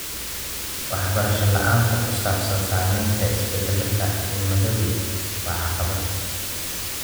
Waxbarasho la'aanta ku saabsan saamaynta isbeddelka cimiladu waa caqabad.